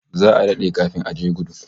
Za'a dade kafin a ji guda